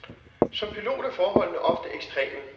Som pilot er forholdene ofte ekstreme.